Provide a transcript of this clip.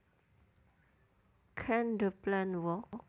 Can the plan work